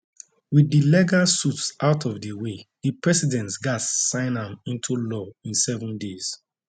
wit di legal suits out of di way di president gatz sign am into law in seven days